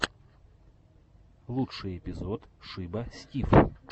лучший эпизод шиба стив